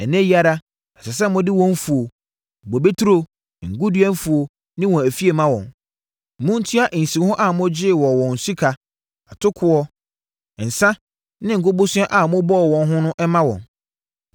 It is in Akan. Ɛnnɛ yi ara, ɛsɛ sɛ mode wɔn mfuo, bobeturo, ngo dua mfuo ne wɔn afie ma wɔn. Montua nsiho a mogyee wɔn wɔ sika, atokoɔ, nsã ne ngo bosea a mobɔɔ wɔn no ho mma wɔn.”